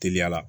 Teliya la